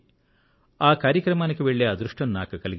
ఆ కార్యక్రమానికి వెళ్లే అదృష్టం నాకు కలిగింది